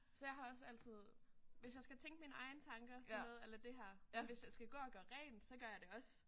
Så jeg har også altid hvis jeg skal tænke mine egne sådan noget a la det her men hvis jeg skal gå og gøre rent så gør jeg det også